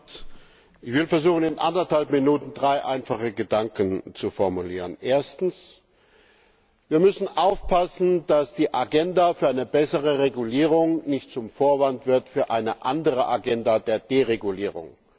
Herr Präsident! Ich werde versuchen, in eineinhalb Minuten drei einfache Gedanken zu formulieren. Erstens Wir müssen aufpassen, dass die Agenda für eine bessere Regulierung nicht zum Vorwand wird für eine andere Agenda der Deregulierung.